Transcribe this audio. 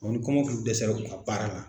ni kɔmɔkili dɛsɛ la u ka baara la.